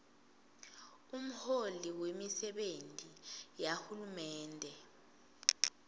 umholi wemisebenti yahulumende